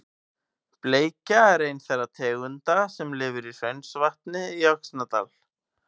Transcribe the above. Bleikja er ein þeirra tegunda sem lifir í Hraunsvatni í Öxnadal.